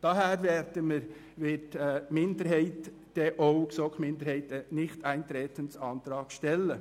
Aus diesem Grund stellt die GSoK-Minderheit einen Antrag auf Nichteintreten.